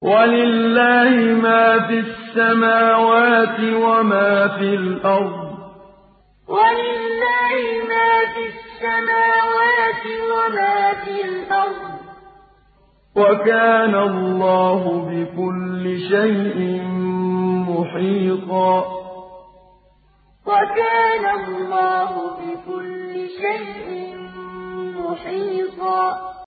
وَلِلَّهِ مَا فِي السَّمَاوَاتِ وَمَا فِي الْأَرْضِ ۚ وَكَانَ اللَّهُ بِكُلِّ شَيْءٍ مُّحِيطًا وَلِلَّهِ مَا فِي السَّمَاوَاتِ وَمَا فِي الْأَرْضِ ۚ وَكَانَ اللَّهُ بِكُلِّ شَيْءٍ مُّحِيطًا